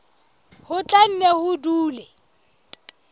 ho tla nne ho dule